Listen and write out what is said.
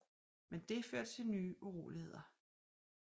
Men det førte til nye uroligheder